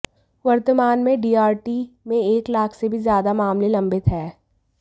वर्तमान में डीआरटी में एक लाख से भी ज्यादा मामले लंबित हैं